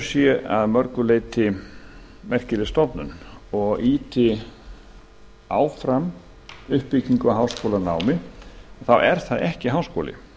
sé að mörgu leyti merkileg stofnun og ýti áfram uppbyggingu á háskólanámi er það ekki háskóli